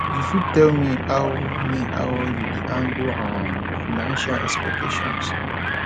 you fit tell me how me how you dey handle um financial expectations